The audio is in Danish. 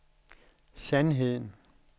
sandheden